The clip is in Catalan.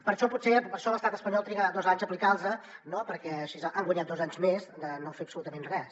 per això potser l’estat espanyol triga dos anys a aplicar los perquè així ha guanyat dos anys més de no fer absolutament res